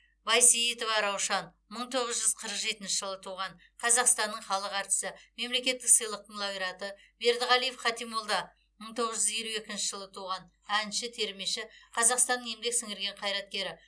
байсейітова раушан мың тоғыз жүз қырық жетінші жылы туған қазақстанның халық әртісі мемлекеттік сыйлықтың лауреаты бердіғалиев хатимолла мың тоғыз жүз елу екінші жыл туған әнші термеші қазақстанның еңбек сіңірген қайраткері